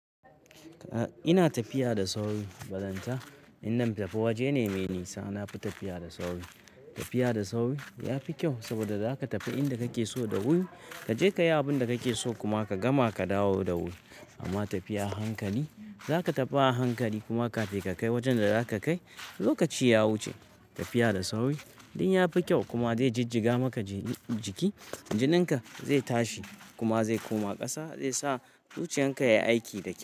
Ina tafiya da sauri, bazanta in zan tafi waje ne mai nisa. Na fi tafiya da sauri. Tafiya da sauri ya fi kyau saboda za ka tafi inda kake so da wuri, ka je ka yi abin da kake so kuma ka gama ka dawo da wuri. Amma tafiya a hankali, za ka tafi a hankali kuma kafin ka kai wajen da za ka kai, lokaci ya wuce. Tafiya da sauri duk ya fi kyau kuma zai jijjiga maka jiki, jinin ka zai tashi kuma zai koma ƙasa zai sa zuciyan ka ya yi aiki da kyau.